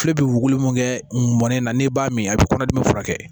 Fila bɛ wolo min kɛ mɔnɛ na ne b'a min a bɛ kɔnɔdimi furakɛ